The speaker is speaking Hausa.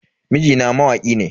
Mijina mawaki ne.